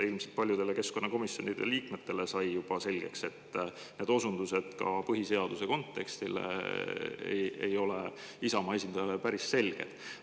Ilmselt paljudele keskkonnakomisjoni liikmetele sai juba selgeks, et need osundused ka põhiseaduse kontekstile ei ole Isamaa esindajale päris selged.